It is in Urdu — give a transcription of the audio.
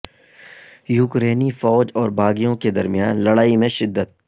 یوکرینی فوج اور باغیوں کے درمیان لڑائی میں شدت